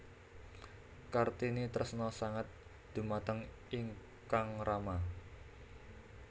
Kartini tresna sanget dhumateng ingkang rama